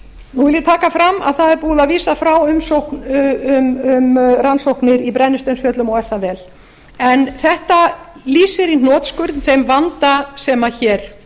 nú vil ég taka fram að það er búið að vísa frá umsókn um rannsóknir í brennisteinsfjöllum og er það vel en þetta lýsir í hnotskurn þeim vanda sem hér